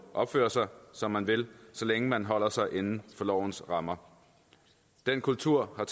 opføre sig som man vil så længe man holder sig inden for lovens rammer den kultur har